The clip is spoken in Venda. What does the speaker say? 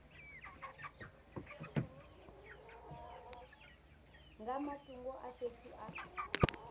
nga matungo a fhethu a